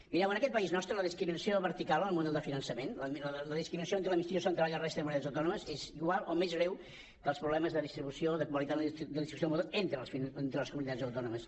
mireu en aquest país nostre la discriminació vertical en el model de finançament la discriminació entre l’administració central i la resta de comunitats autònomes és igual o més greu que els problemes de distribució o de qualitat de la distribució del model entre les comunitats autònomes